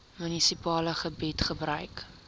munisipale gebied gebruik